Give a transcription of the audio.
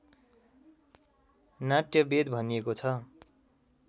नाट्यवेद भनिएको छ।